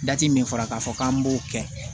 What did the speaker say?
Dati min fɔra k'a fɔ k'an b'o kɛ